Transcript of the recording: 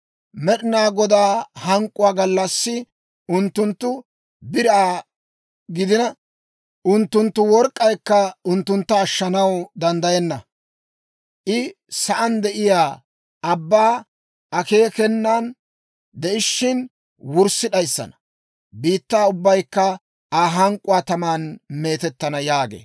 Med'inaa Godaa hank'k'uwaa gallassi unttunttu biraa gidina, unttunttu work'k'aykka unttuntta ashshanaw danddayenna. I sa'aan de'iyaa ubbaa akeekenan de'ishshin, wurssi d'ayissana; biittaa ubbaykka Aa hank'k'uwaa taman meetettana» yaagee.